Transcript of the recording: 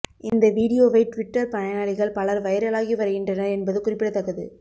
இந்த வீடியோவை டிவிட்டர் பயனாளிகள் பலர் வைரலாகி வருகின்றனர் என்பது குறிப்பிடத்தக்கது